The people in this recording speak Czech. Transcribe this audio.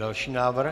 Další návrh.